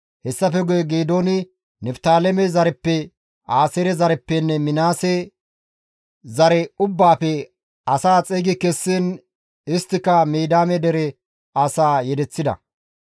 Hessafe guye Geedooni Niftaaleme zareppe, Aaseere zareppenne Minaase zare ubbaafe asaa xeygi kessiin isttika Midiyaame dere asaa yedeththida.